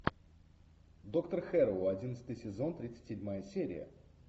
доктор хэрроу одиннадцатый сезон тридцать седьмая серия